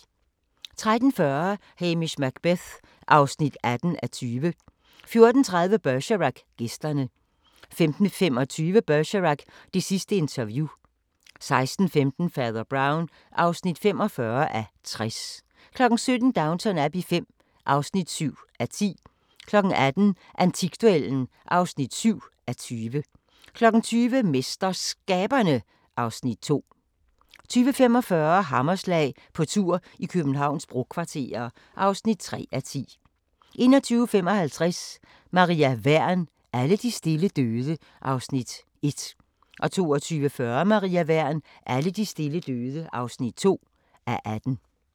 13:40: Hamish Macbeth (18:20) 14:30: Bergerac: Gæsterne 15:25: Bergerac: Det sidste interview 16:15: Fader Brown (45:60) 17:00: Downton Abbey V (7:10) 18:00: Antikduellen (7:20) 20:00: MesterSkaberne (Afs. 2) 20:45: Hammerslag – på tur i Københavns brokvarterer (3:10) 21:55: Maria Wern: Alle de stille døde (1:18) 22:40: Maria Wern: Alle de stille døde (2:18)